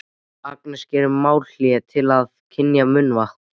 Agnes gerir málhlé til að kyngja munnvatni.